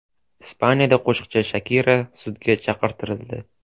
Ispaniyada qo‘shiqchi Shakira sudga chaqirtirildi.